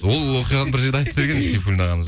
ол оқиғаны бір жерде айтып берген сейфуллин ағамыз